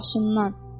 Başından.